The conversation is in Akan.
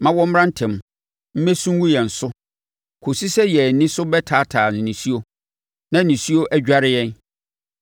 Ma wɔmmra ntɛm mmesu ngu yɛn so kɔsi sɛ yɛn ani so bɛtaataa nisuo na nisuo adware yɛn.